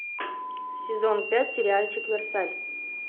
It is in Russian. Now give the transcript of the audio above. сезон пять сериальчик версаль